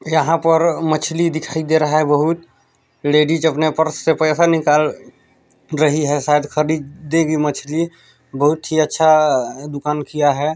यहाँ पर मछली दिखाई दे रहा है बहुत लेडीज अपना पर्स से पैसा निकाल रही है शायद खरीदे गी मछली बहुत ही अच्छा दुकान किया है।